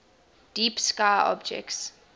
deep sky objects